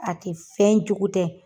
A tɛ fɛn jugu tɛ.